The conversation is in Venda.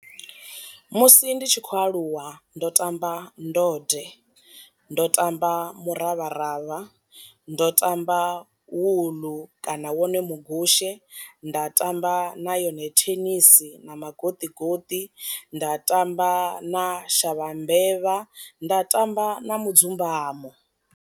Musi ndi tshi khou aluwa ndo tamba ndode, ndo tamba muravharavha, ndo tamba wuḽu kana wone mugushe, nda tamba na yone thenisi na magoṱi goṱi, nda tamba na shavha mbevha nda tamba na mudzumbamo.